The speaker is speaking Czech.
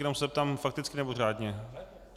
Jenom se zeptám: Fakticky, nebo řádně?